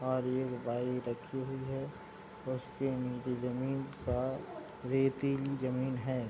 और एक बाइक रखी हुई है उसके नीचे जमीन का रेतीली जमीन है।